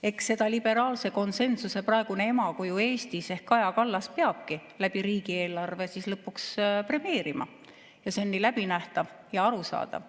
Eks seda liberaalse konsensuse praegune emakuju Eestis ehk Kaja Kallas peabki läbi riigieelarve siis lõpuks premeerima – see on nii läbinähtav ja arusaadav.